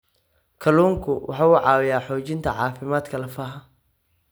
Kalluunku waxa uu caawiyaa xoojinta caafimaadka lafaha.